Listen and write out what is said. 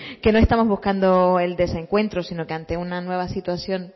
que no estamos buscando el desencuentro sino que ante una nueva situación